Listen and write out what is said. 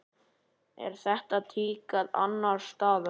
Er þetta tíðkað annars staðar?